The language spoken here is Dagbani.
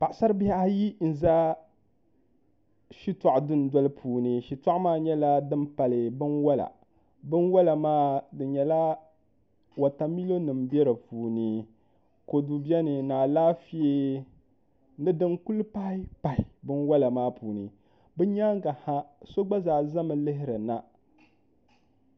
Paɣasari bihi ayi n ʒɛ shitɔɣu dundoli puuni shitoɣu maa nyɛla din pali binwola binwola maa di nyɛla wotamilo nim bɛ di puuni kodu biɛni ni alaafee ni din kuli pahi pahi binwola maa puuni bi nyaangi ha so gba zaa ʒɛmi lihirina